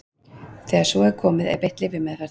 Þegar svo er komið er beitt lyfjameðferð.